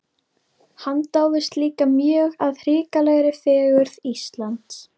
Hann dáðist líka mjög að hrikalegri fegurð Íslands.